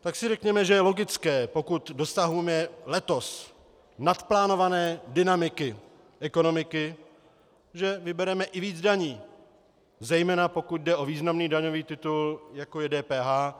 tak si řekněme, že je logické, pokud dosahujeme letos naplánované dynamiky ekonomiky, že vybereme i víc daní, zejména pokud jde o významný daňový titul, jako je DPH.